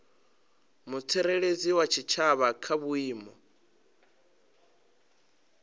mutsireledzi wa tshitshavha kha vhuimo